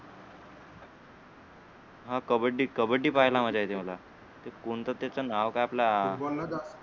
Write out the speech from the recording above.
हा कबड्डी कबड्डी पहायला मज्जा येते मला ते कोणत त्याच नाव काय आपला